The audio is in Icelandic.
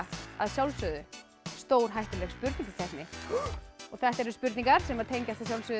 að sjálfsögðu stórhættuleg spurningakeppni þetta eru spurningar sem tengjast